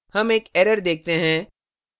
हम एक error देखते हैं